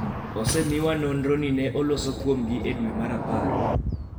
osemiwa nonro ni ne oloso kuomgi e dwe mar apar